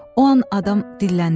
O an adam dilləndi.